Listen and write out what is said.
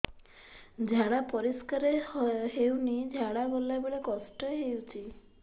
ଝାଡା ପରିସ୍କାର ହେଉନି ଝାଡ଼ା ଗଲା ବେଳେ କଷ୍ଟ ହେଉଚି